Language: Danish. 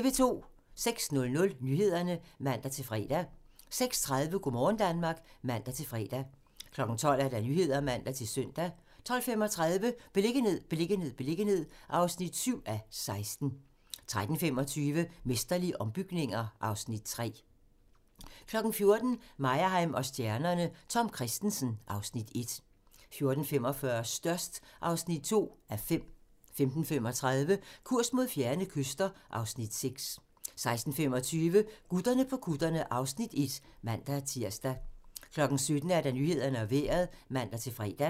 06:00: Nyhederne (man-fre) 06:30: Go' morgen Danmark (man-fre) 12:00: Nyhederne (man-søn) 12:35: Beliggenhed, beliggenhed, beliggenhed (7:16) 13:25: Mesterlige ombygninger (Afs. 3) 14:00: Meyerheim & stjernerne: Tom Kristensen (Afs. 1) 14:45: Størst (2:5) 15:35: Kurs mod fjerne kyster (Afs. 6) 16:25: Gutterne på kutterne (Afs. 1)(man-tir) 17:00: Nyhederne og Vejret (man-fre)